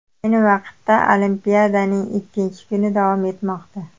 Ayni vaqtda olimpiadaning ikkinchi kuni davom etmoqda.